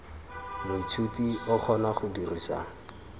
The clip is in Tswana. moithuti o kgona go dirisa